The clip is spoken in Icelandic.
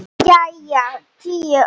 Jæja, tíu ár.